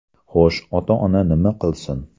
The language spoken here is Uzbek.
Xo‘sh, ota-ona nima qilsin?